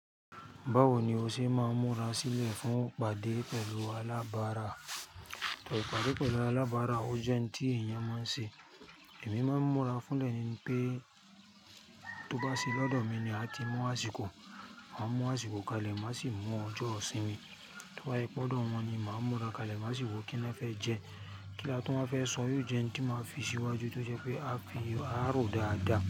Báwo ni o ṣe máa ń múra sílẹ̀ fún ìpàdé pẹ̀lú alábárà? Tọ. Ìpàdé pẹ̀lú alábárà, ó jẹ́ ohun tí èèyàn máa ń ṣe. Èmi máa ń múra fúnlẹ̀ ni pé tó bá sì lọ́dọ̀ mi ni a ti mú àsìkò. Màá mú àsìkò kalẹ̀, màá sì mú ọjọ́ isínmi. To ba je wipe ọ́dọ̀ wọn ni màá múra kalẹ̀, màá sì wo, kí ni na fẹ́ jẹ́? Kí la tún wa fẹ́ sọ? Yio jẹ́ ohun tí màá fi síwájú tí ó jẹ́ pé a fi a rò dáadáa.